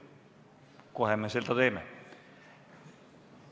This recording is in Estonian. Kohe me seda ka teeme.